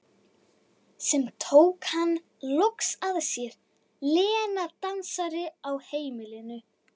Sem tók hann loks að sér, Lena dansarinn á heimilinu.